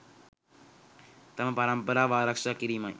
තම පරම්පරාව ආරක්‍ෂා කිරීමයි.